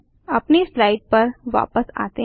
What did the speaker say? अपनी स्लाइड पर वापस आते हैं